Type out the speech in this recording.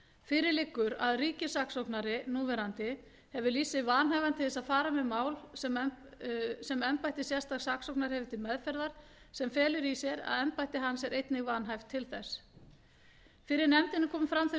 fyrir liggur að ríkissaksóknari hefur lýst sig vanhæfan til þess að fara með mál sem embætti sérstaks saksóknara hefur til meðferðar sem felur í sér að embætti hans er einnig vanhæft til þess fyrir nefndinni komu fram þau